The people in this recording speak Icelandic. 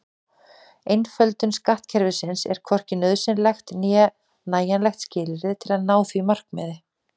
Einföldun skattkerfisins er hvorki nauðsynlegt né nægjanlegt skilyrði til að ná því markmiði.